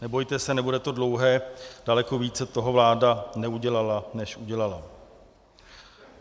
Nebojte se, nebude to dlouhé, daleko více toho vláda neudělala než udělala.